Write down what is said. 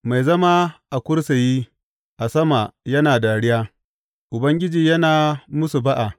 Mai zama a kursiyi a sama yana dariya; Ubangiji yana musu ba’a.